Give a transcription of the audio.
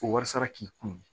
O warsa k'i kun